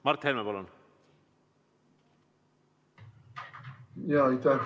Mart Helme, palun!